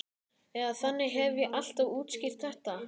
Eða þannig hef ég alltaf útskýrt þetta.